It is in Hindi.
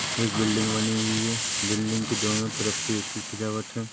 एक बिल्डिंग बनी हुई है बिल्डिंग के दोनो से तरफ एक सी सजावट है।